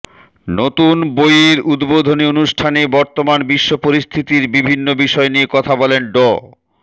নতুন বইয়ের উদ্বোধনী অনুষ্ঠানে বর্তমান বিশ্ব পরিস্থিতির বিভিন্ন বিষয় নিয়ে কথা বলেন ড